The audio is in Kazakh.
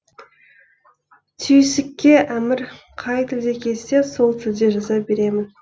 түйсікке әмір қай тілде келсе сол тілде жаза беремін